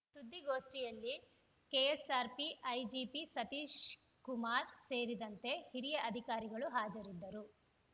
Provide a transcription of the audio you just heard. ಸುದ್ದಿಗೋಷ್ಠಿಯಲ್ಲಿ KSRP IGP Satish Kumar ಸೇರಿದಂತೆ ಹಿರಿಯ ಅಧಿಕಾರಿಗಳು ಹಾಜರಿದ್ದರು